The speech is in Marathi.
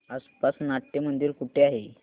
आसपास नाट्यमंदिर कुठे आहे